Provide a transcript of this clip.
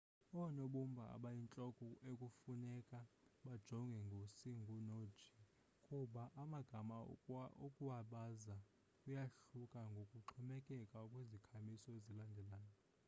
oonobumba abayintloko ekufuneka bajongwe ngu-c no-g kuba amagama ukuwabaza kuyahluka ngokuxhomekeka kwizikhamiso ezilandelayo